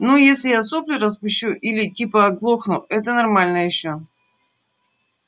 ну если я сопли распущу или типа оглохну это нормально ещё